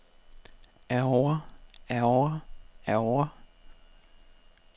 ærgrer ærgrer ærgrer